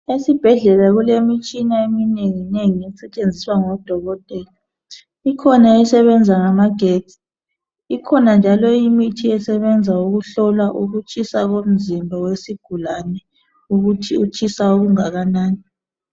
Esibhedlela kulemitshina eminengi nengi esetshenziswa ngodokotela. Ikhona esebenza ngamagetsi ,ikhona njalo imithi esebenza ukuhlola ukutshisa komzimba wesigulane ukuthi utshisa okungakanani.